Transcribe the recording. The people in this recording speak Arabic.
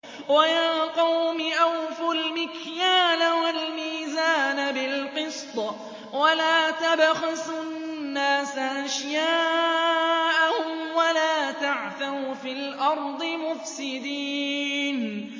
وَيَا قَوْمِ أَوْفُوا الْمِكْيَالَ وَالْمِيزَانَ بِالْقِسْطِ ۖ وَلَا تَبْخَسُوا النَّاسَ أَشْيَاءَهُمْ وَلَا تَعْثَوْا فِي الْأَرْضِ مُفْسِدِينَ